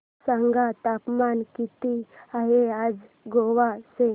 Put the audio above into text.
सांगा तापमान किती आहे आज गोवा चे